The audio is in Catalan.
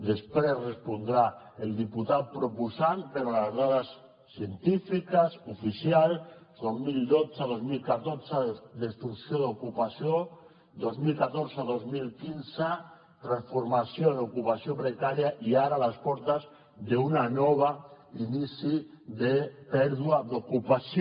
després respondrà el diputat proposant però les dades científiques oficials dos mil dotze dos mil catorze destrucció d’ocupació vint milions cent i quaranta dos mil quinze transformació en ocupació precària i ara a les portes d’un nou inici de pèrdua d’ocupació